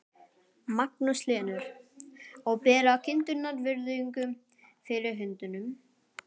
Magnús Hlynur: Og bera kindurnar virðingu fyrir hundunum?